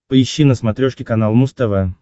поищи на смотрешке канал муз тв